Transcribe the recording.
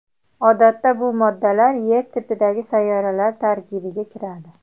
Odatda bu moddalar Yer tipidagi sayyoralar tarkibiga kiradi.